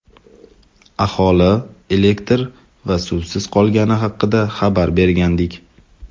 aholi elektr va suvsiz qolgani haqida xabar bergandik.